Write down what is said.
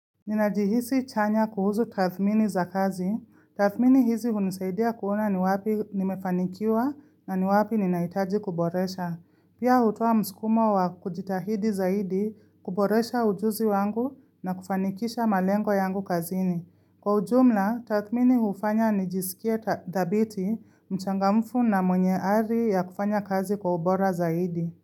Ninajihisi chanya kuhusu tathmini za kazi. Tathmini hizi unisaidia kuona ni wapi nimefanikiwa na ni wapi ninaitaji kuboresha. Pia hutoa msukumo wa kujitahidi zaidi kuboresha ujuzi wangu na kufanikisha malengo yangu kazini. Kwa ujumla, tathmini hufanya nijisikie dhabiti mchangamfu na mwenye hali ya kufanya kazi kwa ubora zaidi.